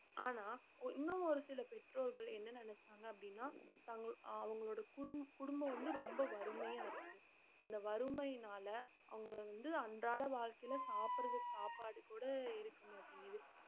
ஆனா ஒ~ இன்னும் ஒரு சில பெற்றோர்கள் என்ன நினைச்சாங்க அப்படின்னா தங்~ அவங்களோட குடும்~ குடும்பம் வந்து ரொம்ப வறுமையா இருக்கு அந்த வறுமையினால அவங்க வந்து அன்றாட வாழ்க்கையில சாப்பிடறதுக்கு சாப்பாடு கூட இருக்கமாட்டேங்குது